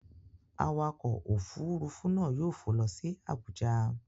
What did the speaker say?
Awakọ̀ òfuurufú náà yóò fò lọ sí Abuja.